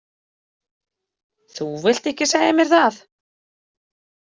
Þú vilt ekki segja mér það.